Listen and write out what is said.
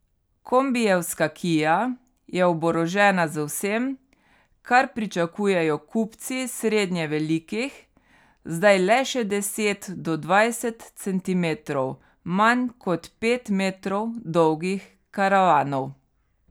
Kombijevska kia je oborožena z vsem, kar pričakujejo kupci srednje velikih, zdaj le še deset do dvajset centimetrov manj kot pet metrov dolgih karavanov.